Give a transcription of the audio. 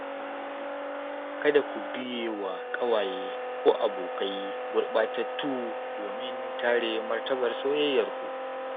Kada ku biye wa ƙawaye ko abokai gurɓatattu domin kare martabar soyayyarku.